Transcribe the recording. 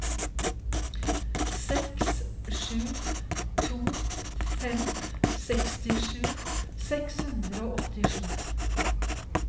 seks sju to fem sekstisju seks hundre og åttisju